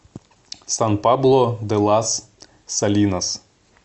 сан пабло де лас салинас